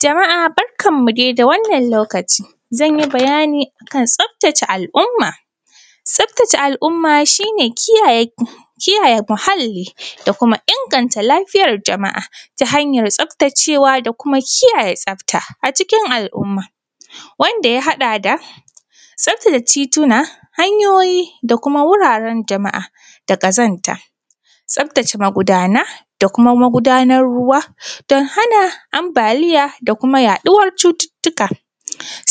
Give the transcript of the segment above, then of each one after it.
Jama’a barkanmu dai da wannan lokaci. Zan yi bayani a kan tsaftace al’umma. Tsaftace al’umma shi ne kiyaye muhalli da kuma inganta lafiyar jama’a ta hanyar tsaftacewa da kuma kiyaye tsafta a cikin al’umma, wanda ya haɗa da tsaftace tituna, hanyoyi da kuma wuraren jama’a da ƙazanta, tsaftace magudana da kuma magudanan ruwa don hana ambaliya da kuma yaɗuwar cututtuka.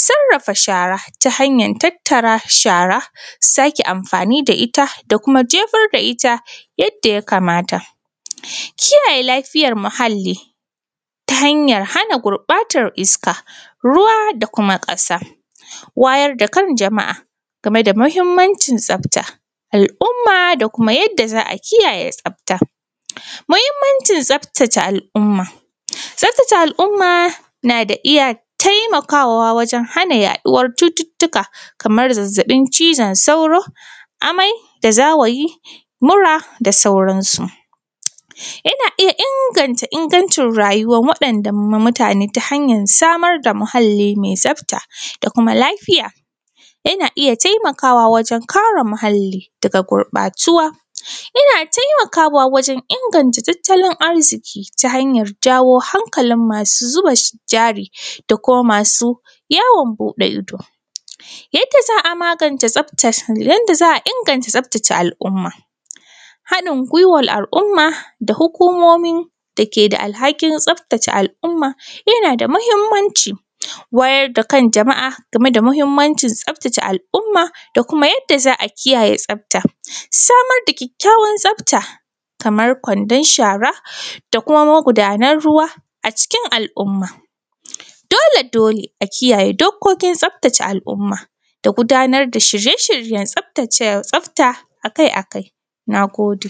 Sarrafa shara ta hanyan tattara shara, sake amfani da ita da kuma jefar da ita yadda ya kamata. Kiyaye lafiyar muhalli ta hanyar hana gurɓatar iska, ruwa da kuma ƙasa, wayar da kan jama’a game da muhimmancin tsafta, al’umma da kuma yadda za a kiyaye tsafta. Muhimmancin tsaftace al’umma. Tsaftace al’umma na da iya… taimakawa wajen hana yaɗuwar cututtuka, kamar zazzaɓin cizon sauro, amai da zawayi, mura da sauransu. Yana iya inganta ingancin rayuwar waɗanda mutane ta hanyar samar da muhalli mai tsafta da kuma lafiya. Yana iya taimakwa wajen kare muhalli daga gurɓatuwa. Yana taimakawa wajen inganta tattalin arziki ta hanyar jawo hankalin masu zuba jari da kuma masu yawon buɗe ido. Yanda za a magance tsaftar…. Yanda za a inganta tsaftace al’umma: haɗin gwiwar al’umma da hukumomi da ke da alhakin tsaftace al’umma yana da muhimmanci, wayar da kan jama’a game da muhimmancin tsaftace al’umma da kuma yadda za a kiyaye tsafta, samar da kyakkyawan tsafta kamar kwandon shara da kuma magudanan ruwa a cikin al’umma. Dolen dole a kiyaye dokokin tsaftace al’umma da gudanar da shirye shiryen tsaftace tsafta a kai a kai. Na gode.